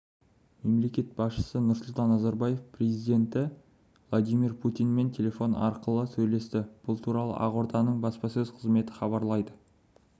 мемлекет басшысы нұрсұлтан назарбаев президенті владимир путинмен телефон арқылы сөйлесті бұл туралы ақорданың баспасөз қызметі хабарлайды